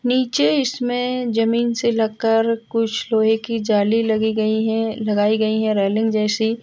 नीचे इसमें जमीन से लग कर कुछ लोहे की जाली लगी गयी हैलगाई गयी है रेलिंग जैसी।